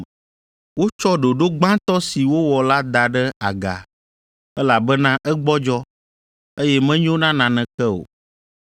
Wotsɔ ɖoɖo gbãtɔ si wowɔ la da ɖe aga, elabena egbɔdzɔ, eye menyo na naneke o